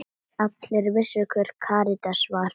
Allir vissu hver Karítas var.